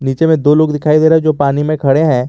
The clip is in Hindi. नीचे में दो लोग दिखाई दे रहे हैं जो पानी में खड़े हैं।